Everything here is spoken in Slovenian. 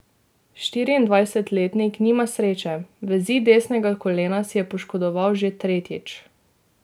Štiriindvajsetletnik nima sreče, vezi desnega kolena si je poškodoval že tretjič.